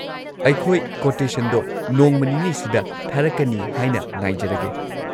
ꯑꯩꯈꯣꯏ ꯀꯣꯇꯦꯁꯟꯗꯣ ꯅꯣꯡꯃ ꯅꯤꯅꯤꯁꯤꯗ ꯊꯥꯔꯛꯀꯅꯤ ꯍꯥꯏꯅ ꯉꯥꯏꯖꯔꯒꯦ꯫